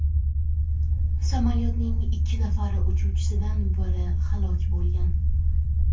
Samolyotning ikki nafar uchuvchisidan biri halok bo‘lgan.